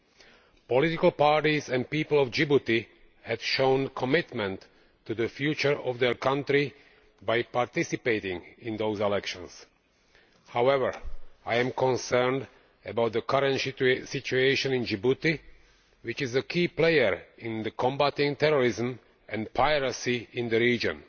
The political parties and the people of Djibouti have shown commitment to the future of their country by participating in those elections. However, I am concerned about the current situation in Djibouti, which is a key player in combating terrorism and piracy in the region.